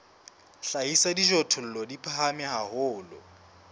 hlahisa dijothollo di phahame haholo